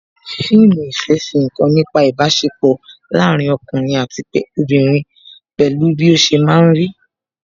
Fíìmù ìfẹ́ fi nkan nípa ibasepo láàárín ọkùnrin àti obìnrin pẹ̀lú bí ó ṣe máa ń rí